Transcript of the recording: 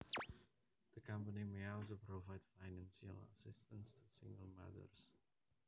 The company may also provide financial assistance to single mothers